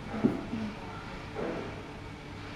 okes beekab ropta